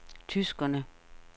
tyskerne